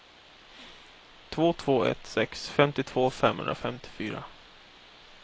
två två ett sex femtiotvå femhundrafemtiofyra